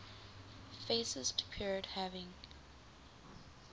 fascist period having